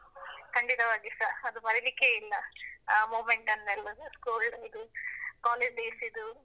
ಖಂಡಿತವಾಗಿಸ. ಅದು ಮರೀಲಿಕ್ಕೇ ಇಲ್ಲ ಆ moment ನೆಲ್ಲ covid ಡಿದ್ದು college days ದು.